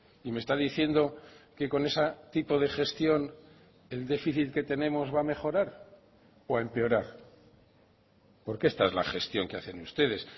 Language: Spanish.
y me está diciendo que con ese tipo de gestión el déficit que tenemos va a mejorar o a empeorar porque esta es la gestión que hacen ustedes